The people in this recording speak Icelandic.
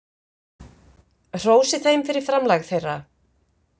Hrósið þeim fyrir framlag þeirra.